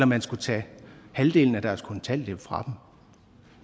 man skulle tage halvdelen af deres kontanthjælp fra dem